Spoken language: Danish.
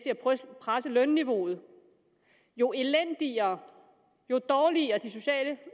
presse lønniveauet jo elendigere jo dårligere de sociale